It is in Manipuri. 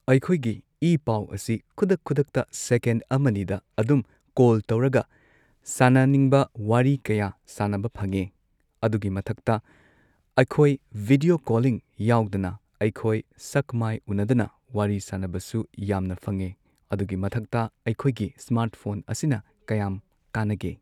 ꯑꯩꯈꯣꯏꯒꯤ ꯏ ꯄꯥꯎ ꯑꯁꯤ ꯈꯨꯗꯛ ꯈꯨꯗꯛꯇ ꯁꯦꯀꯦꯟ ꯑꯃꯅꯤꯗ ꯑꯗꯨꯝ ꯀꯣꯜ ꯇꯧꯔꯒ ꯁꯥꯅꯅꯤꯡꯕ ꯋꯥꯔꯤ ꯀꯌꯥ ꯁꯥꯅꯕ ꯐꯪꯉꯦ ꯑꯗꯨꯒꯤ ꯃꯊꯛꯇ ꯑꯩꯈꯣꯏ ꯕꯤꯗ꯭ꯌꯣ ꯀꯣꯂꯤꯡ ꯌꯥꯎꯗꯅ ꯑꯩꯈꯣꯏ ꯁꯛ ꯃꯥꯏ ꯎꯅꯗꯅ ꯋꯥꯔꯤ ꯁꯥꯅꯕꯁꯨ ꯌꯥꯝꯅ ꯐꯪꯉꯦ ꯑꯗꯨꯒꯤ ꯃꯊꯛꯇ ꯑꯩꯈꯣꯏꯒꯤ ꯁ꯭ꯃꯥꯔꯠꯐꯣꯟ ꯑꯁꯤꯅ ꯀꯌꯥꯝ ꯀꯥꯟꯅꯒꯦ꯫